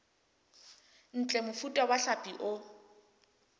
ntle mofuta wa hlapi o